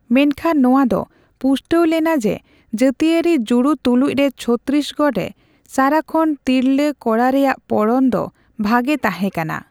ᱢᱮᱱᱠᱷᱟᱱ ᱱᱚᱣᱟ ᱫᱚ ᱯᱩᱥᱴᱟᱣ ᱞᱮᱱᱟ ᱡᱮ ᱡᱟᱹᱛᱤᱭᱟᱹᱨᱤ ᱡᱩᱲᱩ ᱛᱩᱞᱩᱡ ᱨᱮ ᱪᱷᱚᱛᱛᱤᱥᱜᱚᱲ ᱨᱮ ᱥᱟᱨᱟᱠᱷᱚᱱ ᱛᱤᱨᱞᱟᱹ ᱠᱚᱲᱟ ᱨᱮᱭᱟᱜ ᱯᱚᱲᱚᱱ ᱫᱚ ᱵᱷᱟᱜᱮ ᱛᱟᱦᱮᱸ ᱠᱟᱱᱟ ᱾